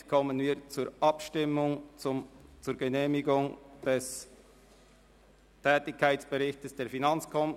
Somit kommen wir zur Abstimmung über die Genehmigung des Tätigkeitsberichts der FiKo.